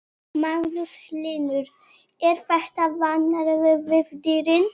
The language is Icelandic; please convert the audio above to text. Magnús Hlynur: Er þetta vanvirðing við dýrin?